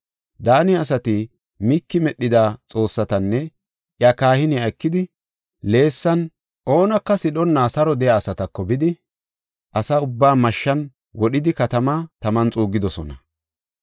Daane asati Miiki medhida xoossatanne iya kahiniya ekidi, Leesan oonaka sidhonna saro de7iya asatako bidi, asa ubbaa mashshan wodhidi katamaa taman xuuggidosona.